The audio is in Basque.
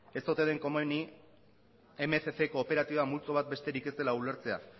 ez ote den komenik mila berrehun kooperatiba multzo bat besterik ez dela ulertzea